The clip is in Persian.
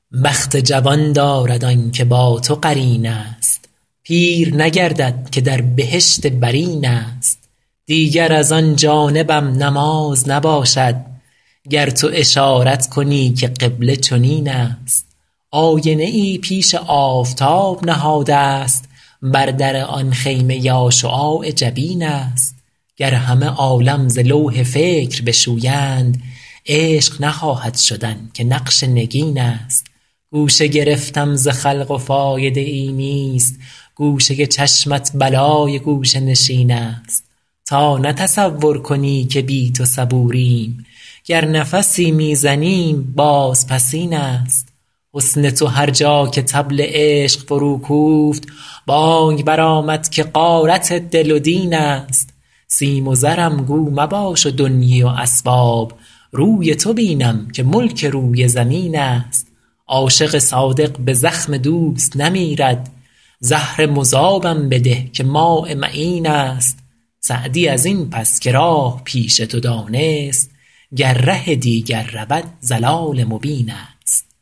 بخت جوان دارد آن که با تو قرین است پیر نگردد که در بهشت برین است دیگر از آن جانبم نماز نباشد گر تو اشارت کنی که قبله چنین است آینه ای پیش آفتاب نهادست بر در آن خیمه یا شعاع جبین است گر همه عالم ز لوح فکر بشویند عشق نخواهد شدن که نقش نگین است گوشه گرفتم ز خلق و فایده ای نیست گوشه چشمت بلای گوشه نشین است تا نه تصور کنی که بی تو صبوریم گر نفسی می زنیم بازپسین است حسن تو هر جا که طبل عشق فروکوفت بانگ برآمد که غارت دل و دین است سیم و زرم گو مباش و دنیی و اسباب روی تو بینم که ملک روی زمین است عاشق صادق به زخم دوست نمیرد زهر مذابم بده که ماء معین است سعدی از این پس که راه پیش تو دانست گر ره دیگر رود ضلال مبین است